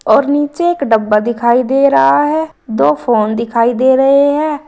और नीचे एक डब्बा दिखाई दे रहा है दो फोन दिखाई दे रहे हैं।